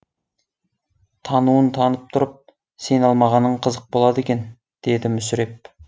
тануын танып тұрып сене алмағаның қызық болады екен деді мүсіреп